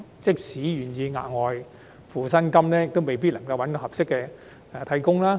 即使僱主願意支付額外薪金，也未必能夠聘得合適的替工。